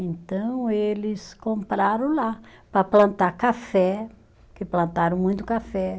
Então, eles compraram lá para plantar café, porque plantaram muito café.